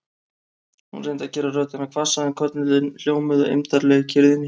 Hún reyndi að gera röddina hvassa en köllin hljómuðu eymdarlega í kyrrðinni.